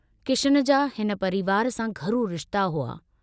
किशन जा हिन परिवार सां घरू रिश्ता हुआ।